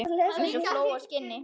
Eins og fló á skinni.